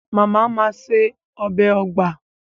Màmá màa se ọbẹ̀ ugba.